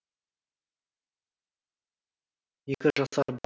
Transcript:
екі жасар